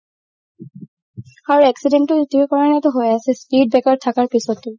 আৰু accident তো সেইতো কাৰণে হয় আছে speed breaker ৰ থাকাৰ পিছতো